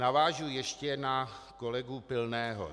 Navážu ještě na kolegu Pilného.